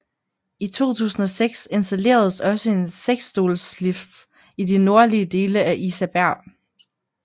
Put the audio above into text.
I 2006 installeredes også en seksstolslift i de nordlige dele af Isaberg